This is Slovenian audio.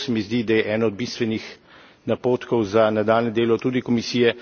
In to se mi zdi, da je eden od bistvenih napotkov za nadaljnje delo tudi Komisije.